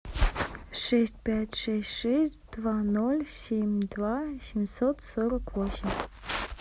шесть пять шесть шесть два ноль семь два семьсот сорок восемь